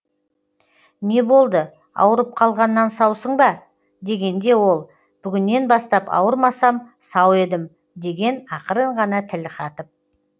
не болды ауырып қалғаннан саусың ба дегенде ол бүгіннен бастап ауырмасам сау едім деген ақырын ғана тіл қатып